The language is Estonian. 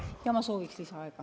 Jah, ma soovin lisaaega.